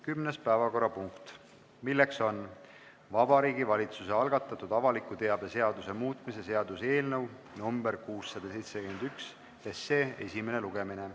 Kümnes päevakorrapunkt on Vabariigi Valitsuse algatatud avaliku teabe seaduse muutmise seaduse eelnõu 671 esimene lugemine.